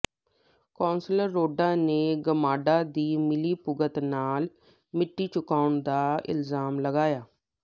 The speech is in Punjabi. ਕੌਂਸਲਰ ਰੋਡਾ ਨੇ ਗਮਾਡਾ ਦੀ ਮਿਲੀਭੁਗਤ ਨਾਲ ਮਿੱਟੀ ਚੁਕਵਾਉਣ ਦਾ ਇਲਜਾਮ ਲਗਾਇਆ